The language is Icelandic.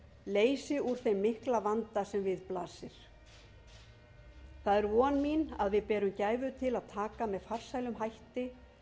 leysi úr þeim mikla vanda sem við blasir það er von mín að við berum gæfu til að taka með farsælum hætti